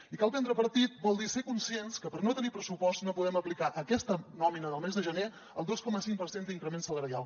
i prendre partit vol dir ser conscients que per no tenir pressupost no podem aplicar a aquesta nòmina del mes de gener el dos coma cinc per cent d’increment salarial